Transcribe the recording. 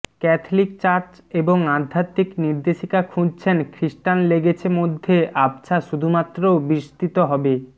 Catholic church এবং আধ্যাত্মিক নির্দেশিকা খুঁজছেন খ্রিস্টান লেগেছে মধ্যে আবছা শুধুমাত্র বিস্তৃত হবে